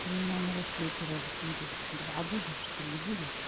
ты меня на рассвете разбудишь два будешь три будешь